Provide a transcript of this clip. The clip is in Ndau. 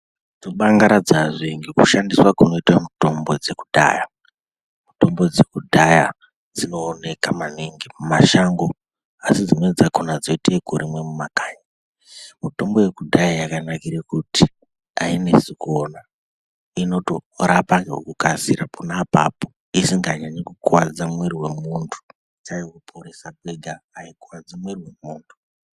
Tobangaradzwazve ngekushandiswa kunoitwe mithombo dzekudhaya. Mutombo dzekudhaya dzinooneka maningi mumashango asi dzimweni dzakhona dzoitweekurimwa mumakanyi. Mitombo yekudhaya yakanakire kuti ayinesi kuona inotorapa ngekukasisa pona apapo, isinganyanyi kukuwadza mwiri wemuntu sare kuporesa kwega ayikuwadzi mwiri wemuntu.